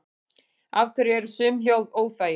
Af hverju eru sum hljóð óþægileg?